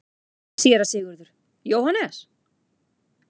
SÉRA SIGURÐUR: Jóhannes?